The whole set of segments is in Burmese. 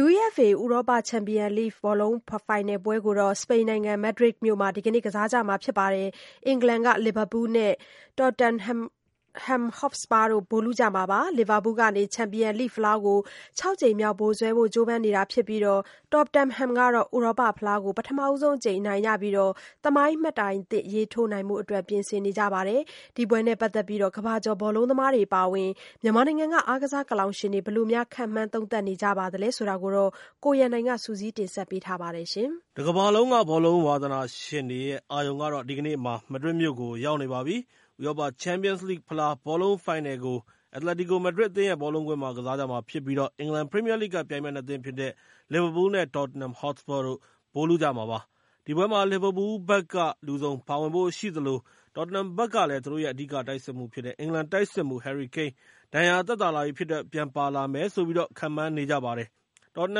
UEFA ဥရောပချန်ပီယံလိဂ်ဘောလုံးဖိုင်နယ်ကိုတော့ စပိန်နိုင်ငံ မက်ဒရစ်မြို့မှာ ဒီကနေ့ ကစားကြမှာဖြစ်ပြီး အင်္ဂလန်က လီဗာပူးလ် နဲ့ တော့တင်ဟမ်ဟော့စပါးတို့ ဗိုလ်လုကြမှာပါ။ လီဗာပူးလ်က ချန်ပီယံလိဂ်ဖလားကို ၆ ကြိမ် မြောက် ဗိုလ်စွဲဖို့ ကြိုးပမ်းနေတာဖြစ်ပြီး တော့တင်ဟမ်ကလည်း ဥရောပဖလားကို ပထမဆုံးအကြိမ် အနိုင်ရပြီး သမိုင်းမှတ်တိုင်သစ်ရေးထိုးဖို့အတွက် ပြင်ဆင်နေကြပါတယ်။ ဒီပွဲနဲ့ ပတ်သက်ပြီး ကမ္ဘာကျော်ဘောလုံးသမားတွေအပါအဝင် မြန်မာနိုင်ငံက အားကစားကလောင်ရှင်တွေက ဘယ်လိုခန့်မှန်းသုံးသပ်နေကြသလဲ ဆိုတာကိုတော့ ကိုရန်နိုင်က စုစည်းတင်ဆက်ပေးထားပါတယ်။ တကမ္ဘာလုံးက ဘောလုံးဝါသနာရှင်တွေရဲ့ အာရုံကတော့ ဒီကနေ့မှာ မက်ဒရစ်မြို့ကို ရောက်နေပါပြီ။ ဥရောပချန်ပီယံလိဂ်ဖလားဘောလုံး ဖိုင်နယ်ပွဲကို အက်တလက်တီကို မက်ဒရစ်အသင်းရဲ့ Metropolitano ဘောလုံးကွင်းကြီးမှာ ကစားကြမှာဖြစ်ပြီး အင်္ဂလန်ပရီမီယာလိဂ်က ပြိုင်ဘက် အသင်း ၂ သင်းဖြစ်တဲ့ လီဗာပူးလ် နဲ့ တော့တင်ဟမ်ဟော့စပါးတို့ ဗိုလ်လုကြမှာဖြစ်ပါတယ်။ ဒီပွဲမှာ လီဗာပူးလ်ဘက်ကလည်း လူစုံပါဝင်ဖို့ရှိသလို တော့တင်ဟမ်ဘက်မှာလည်း သူတို့ရဲ့ အဓိကတိုက်စစ်မှူးဖြစ်တဲ့ အင်္ဂလန်တိုက်စစ်မှူး ဟယ်ရီကိန်း ဒဏ်ရာသက်သာ လာပြီဖြစ်တဲ့အတွက် ပြန်ပါလာလိမ့်မယ်လို့ ခန့်မှန်းနေကြပါတယ်။ တော့တ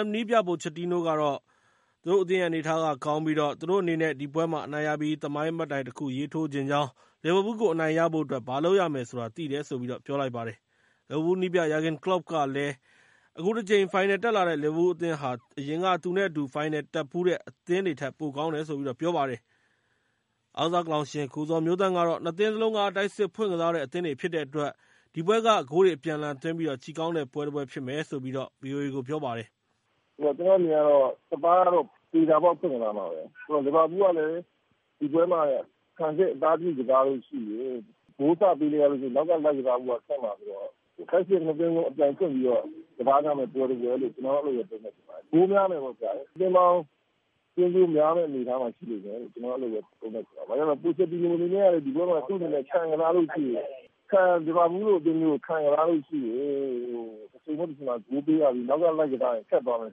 င်ဟမ်နည်းပြ ပိုချက်တီနိုကတော့ သူ့အသင်းရဲ့ အနေအထားက ကောင်းတယ်လို့ ပြောလိုက်ပြီး သူတို့အနေနဲ့ ဒီပွဲမှာ အနိုင်ရပြီး သမိုင်းမှတ်တိုင်တခုရေးထိုးချင်ကြောင်း လီဗာပူးလ်ကို အနိုင်ရဖို့အတွက် ဘာလုပ်ရမယ်ဆိုတာ သိတယ်လို့ ပြောလိုက်ပါတယ်။ လီဗာပူးလ်နည်းပြ ဂျာဂင်ကလော့ပ်ကတော့ အခုတကြိမ် ဖိုင်နယ်တက်လာတဲ့ လီဗာပူးလ်အသင်းဟာ အရင်က သူ့နဲ့ အတူ ဖိုင်နယ်တက်ဖူးတက် အသင်းတွေ ထက် ပိုကောင်းတယ်လို့ ပြောလိုက်ပါတယ်။ အားကစားကလောင်ရှင် ကိုဇော်မျိုးသန့်က ၂ သင်းစလုံးက တိုက်စစ်ဖွင့်ကစားတဲ့ အသင်းတွေဖြစ်တဲ့ အတွက် ဒီပွဲက ဂိုးတွေအပြန်အလှန်သွင်းပြီး ကြည့်ကောင်းတဲ့ ပွဲတပွဲဖြစ်မယ်လို့ ဗွီအိုအေကို ပြောပါတယ်။ "ကျနော့်အမြင်ကတော့ စပါးကတော့ သေချာပေါက် ဖွင့်ကစားမှာပဲ။ လီဗာပူးလ်ကလဲ ဒီပွဲမှာ ခံစစ်အသားပြုကစားလို့ရှိရင် ဂိုးစပေးလို့ရှိရင် နောက်ကလိုက်ကစားဖို့က ခက်မှာဆိုတော့ တိုက်စစ် ၂ သင်းလုံး အပြိုင်ဖွင့်ပြီးတော့ ကစားကြမယ့် ပွဲတပွဲလို့ ကျနော်က အဲ့လိုပဲ သုံးသပ်ချင်ပါတယ်။ ဂိုးများမယ်ပေါ့။ သွင်းဂိုးများမယ့် အနေအထားမှာရှိနေမယ်လို့ ကျနော်ကတော့ အဲ့လိုသုံးသပ်ချင်ပါတယ်။ ဘာကြောင့်လဲဆိုလို့ရှိရင် သူ့အနေနဲ့ ခံစားလို့ရှိရင် လီဗာပူးလ်လိုအသင်းမျိုးကို ခံကစားလို့ရှိရင် တချိန်မဟုတ် တချိန်မှာ ဂိုးပေးရပြီး နောက်ကလိုက်ကစားရင် ခက်သွားမယ်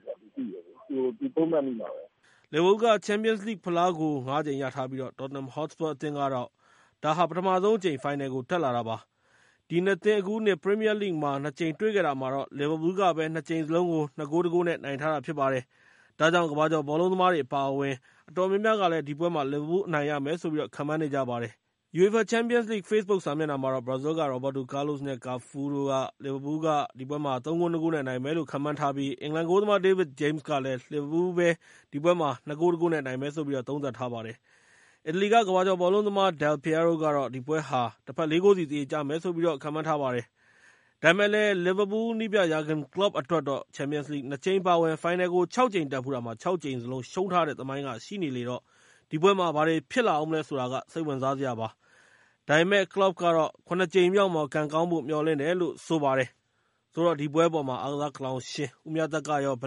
ဆိုတာ သူသိတယ် အဲ့လို သုံးသပ်မိပါတယ်။" လီဗာပူးလ်က ချန်ပီယံလိဂ်ကို ၅ ကြိမ် ရထားပြီး တော့်တင်ဟမ်ဟော့စပါးအသင်းအတွက်တော့ ဒါက ပထမဆုံးအကြိမ် ဖိုင်နယ်ကို တက်တာပါ။ ဒီ ၂ သင်း အခုနှစ် ပရီမီယာလိဂ်မှာ ၂ ကြိမ် တွေ့ခဲ့တာမှာတော့ လီဗာပူးလ်ကပဲ ၂ ကြိမ်စလုံးကို ၂ ဂိုး ၁ ဂိုး နဲ့ နိုင်ခဲ့တာဖြစ်ပါတယ်။ ဒါကြောင့် ကမ္ဘာကျော်ဘောလုံးသမားတွေ အပါအဝင် အတော်များများကတော့ ဒီပွဲမှာ လီဗာပူးလ်အသင်းနိုင်မယ်ဆိုပြီး ခန့်မှန်းနေကြပါတယ်။ UEFA ချန်ပီယံလိဂ်ရဲ့ Facebook စာမျက်နှာမှာတော့ ဘရာဇီးက ရော်ဘတ်တိုကားလို့စ် နဲ့ ကာဖူးတို့ကလည်း လီဗာပူးကလ် ၃ ဂိုး ၂ ဂိုး နဲ့ နိုင်မယ်လို့ ခန့်မှန်းထားပြီး အင်္ဂလန်ဂိုးသမား ဒေးဗစ်ဂျိမ်းစ်ကတော့ လီဗာပူးလ်က ၂ ဂိုး ၁ ဂိုး နဲ့ နိုင်မယ်လို့ သုံးသပ်ပါတယ်။ အီတလီက ကမ္ဘာကျော်ဘောလုံးသမား ဒဲလ်ပီယာရိုကတော့ ၄ ဂိုး စီ သရေကျမယ်လို့ ခန့်မှန်းထားကြပါတယ်။ ဒါပေမဲ့လည်း လီဗာပူးလ်နည်းပြ Jurgen Klopp အတွက်တော့ ချန်ပီယံလိဂ် ၂ ကြိမ် အပါအဝင် ဖိုင်နယ်ကို ၆ ကြိမ်တက်ဖူးတာမှာ ၆ ကြိမ် စလုံး ရှုံးထားတဲ့ သမိုင်းကလည်း ရှိနေလေတော့ ဒီပွဲမှာရော ဘာတွေဖြစ်လာအုံးမလဲဆိုတာ စိတ်ဝင်စားစရာပါ။ ဒါပေမဲ့လည်း ကလော့ပ်ကတော့ ၇ ကြိမ်မြောက်မှာ ကံကောင်းဖို့ မျှော်လင့်တယ်လို့ ဆိုပါတယ်။ ဆိုတော့ ဒီပွဲအပေါ် အားကစားကလောင်ရှင် ဦးမြတ်သက်က ဘယ်လိုခန့်မှ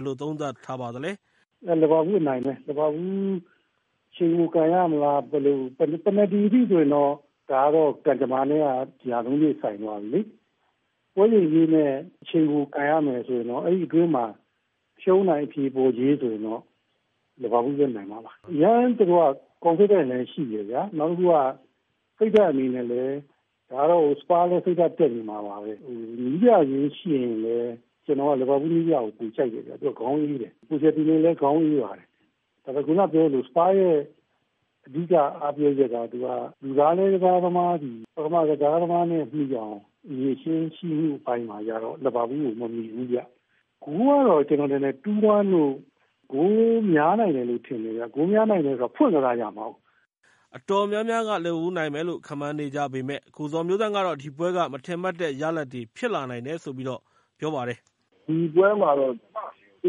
န်းပါသလဲ။ "လီဗာပူးလ်အနိုင်ပဲ။ လီဗာပူးလ် အချိန်ပိုကန်ရမလား။ ပန်နတီထိဆိုရင်တော့ ဒါကတော့ ကံကြမ္မနဲ့က ရာနှုန်းပြည့်ဆိုင်သွားပြီလေ။ ပွဲချိန်အပြည့်နဲ့ အချိန်ပိုကန်ရမယ်ဆိုရင်တော့ အဲ့ဒီအတွင်းမှာ ရှုံး၊ နိုင် အဖြေပေါ်ရေးဆိုရင်တော့ လီဗာပူးလ်ပဲနိုင်မှာပါ။ အရမ်း သူတို့က Confidence လည်းရှိတယ်ဗျာ။ နောက်တခုက စိတ်ဓါတ်အနေနဲ့လည်း ဒါကတော့ တော်တော်ကို စပါးလည်း စိတ်ဓါတ်တက်နေမှာပါပဲ။ နည်းပြချင်းယှဉ်ရင်လည်း ကျနော်ကတော့ လီဗာပူးလ်နည်းပြကို ပိုကြိုက်တယ်ဗျ။ သူကတော့ ခေါင်းအေးတယ်။ ခုနပြောသလို စပါးရဲ့ လူစားလဲ ကစားသမားသည် ပထမကစားသမားနဲ့ မှီအောင် အရည်အချင်းရှိမှု အပိုင်းမှာကျတော့ လီဗာပူးလ်ကို မမှီဘူးဗျ။ ဂိုးကတော့ ကျနော်ထင်တယ် ၂ - ၁ တို့ ဂိုးများနိုင်တယ်လို့ထင်တယ်ဗျ။ ဂိုးများနိုင်တယ်ဆိုတာ ဖွင့်ကစားကြမှာကိုး။" အတော်များများက လီဗာပူးလ်နိုင်မယ်လို့ ခန့်မှန်းနေကြပေမယ့်၊ ကိုဇော်မျိုးသန့်ကတော့ ဒီပွဲက မထင်မှတ်တဲ့ ရလဒ်တွေဖြစ်လာနိုင်တယ်လို့ ပြောလိုက်ပါတယ်။ "ဒီပွဲမှာတော့ ကျ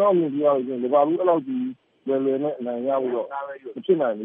နော့်အမြင်ပြောရလို့ရှိရင် လီဗာပူးလ် အဲ့လောက်ကြီး လွယ်လွယ်နဲ့အနိုင်ရဖို့တော့ မဖြစ်နိုင်ဘူ